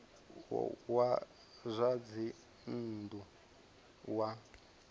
wa zwa dzinn ḓu wa